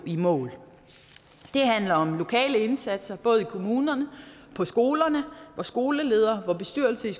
i mål det handler om lokale indsatser både i kommunerne på skolerne hvor skoleledere og hvor bestyrelser